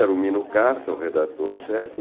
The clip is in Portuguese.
Era o Minucarto, o redator-chefe.